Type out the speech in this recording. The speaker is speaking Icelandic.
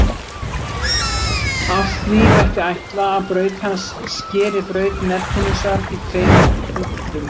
Af því mætti ætla að braut hans skeri braut Neptúnusar í tveimur punktum.